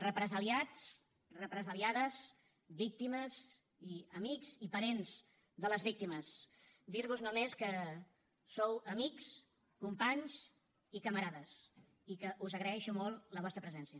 represaliats represaliades víctimes i amics i parents de les víctimes dir vos només que sou amics companys i camarades i que us agraeixo molt la vostra presència